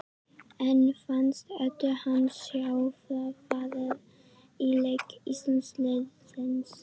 En fannst Eddu henni sjá framfarir á leik íslenska liðsins?